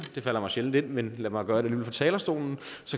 det falder mig sjældent ind men lad mig gøre det alligevel fra talerstolen